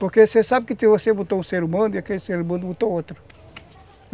Porque você sabe que você botou um ser humano e aquele ser humano botou outro.